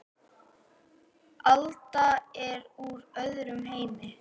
Alda er úr öðrum heimi.